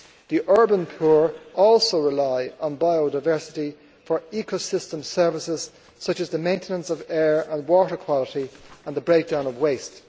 The urban poor also rely on biodiversity for ecosystem services, such as the maintenance of air and water quality and the breakdown of waste.